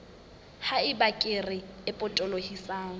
ha eba kere e potolohisang